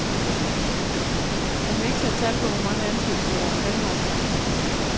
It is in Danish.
Han vil ikke sætte tal på, hvor mange ansættelser, der er planlagt.